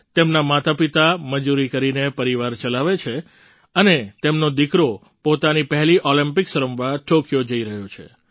તેમનાં માતાપિતા મજૂરી કરીને પરિવાર ચલાવે છે અને તેમનો દીકરો પોતાની પહેલી ઑલિમ્પિક્સ રમવા ટૉક્યો જઈ રહ્યો છે